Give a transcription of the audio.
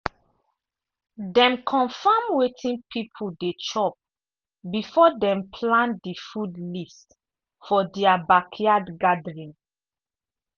dem confirm wetin people dey chop before dem plan the food list for their backyard gathering.